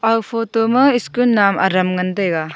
aga photo ma school nawm aram ngan taiga.